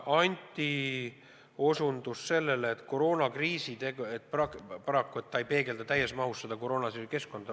Anti osutas sellele, et arengukava paraku ei peegelda täies mahus seda koroona tekitatud keskkonda.